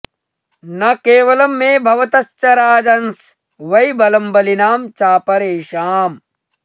न केवलं मे भवतश्च राजन्स वै बलं बलिनां चापरेषाम्